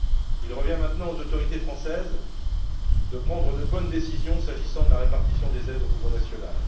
Il revient maintenant aux autorités françaises de prendre de bonnes décisions s'agissant de la répartition des aides au niveau national.